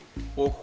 og